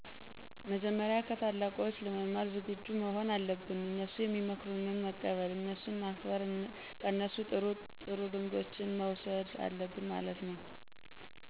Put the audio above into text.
መጀመሪያ ከታላቆች ለመማር ዝግጁ መሆን አለብን፤ እነሡ ሚመክሩትን መቀበል፣ እነሡን ማክበር፣ ከነሡ ጥሩ ጥሩ ልምዶችን መውሠድ አለብን ማለት ነው።